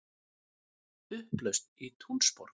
Upplausn í Túnisborg